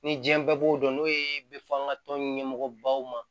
Ni diɲɛ bɛɛ b'o dɔn n'o ye bɛ fɔ an ka tɔn ɲɛmɔgɔ baw ma